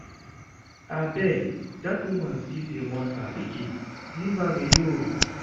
Abeg dat woman still dey mourn her pikin, leave am alone